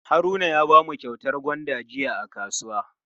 Haruna ya bamu kyautar gwanda jiya a kasuwa.